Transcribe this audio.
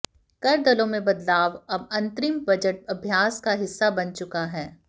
कर दरों में बदलाव अब अंतरिम बजट अभ्यास का हिस्सा बन चुका है